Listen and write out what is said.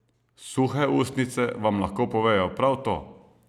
Suhe ustnice vam lahko povejo prav to.